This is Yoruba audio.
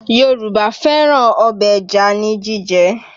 Yorùbá fẹ́ràn ọbẹ̀ ẹja ní jíjẹ